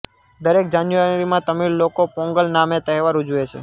દરેક જાન્યૂઆરીમાં તમિળ લોકો પોંગલ નામે તહેવાર ઉજવે છે